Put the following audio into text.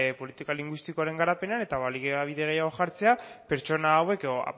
politika linguistikoaren garapenean eta baliabide gehiago jartzea pertsona hauek edo